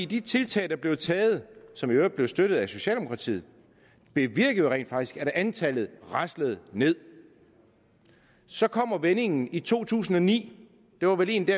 de tiltag der blev taget som i øvrigt blev støttet af socialdemokratiet bevirkede jo rent faktisk at antallet raslede nederst så kommer vendingen i to tusind og ni det var vel egentlig